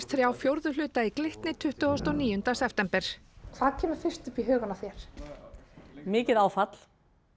þrjá fjórðu hluta í Glitni tuttugasta og níunda september hvað kemur fyrst upp í hugann mikið áfall